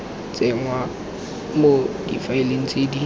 tsenngwa mo difaeleng tse di